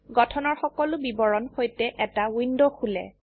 গঠনৰ সকলো বিবৰণৰ সৈতে এটা উইন্ডো খোলে